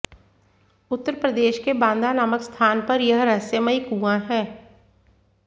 उत्तर प्रदेश के बांदा नामक स्थान पर यह रहस्यमयी कुआं है